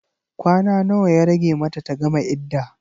Kwana nawa ya rage mata ta gama idda?